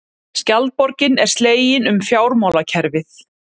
Skjaldborgin er slegin um fjármálakerfið